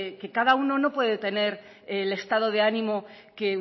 que cada uno no puede tener el estado de ánimo que